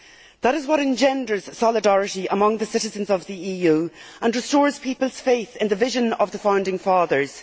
That is what engenders solidarity among the citizens of the EU and restores people's faith in the vision of the founding fathers.